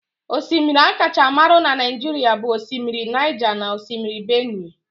Osimiri akacha marụ na Naijiria bụ osimiri Naija na Osimiri Benue